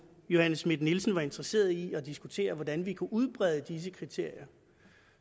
johanne schmidt nielsen var interesseret i at diskutere hvordan vi kunne udbrede disse kriterier